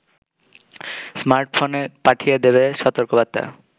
স্মার্টফোনে পাঠিয়ে দেবে সতর্কবার্তা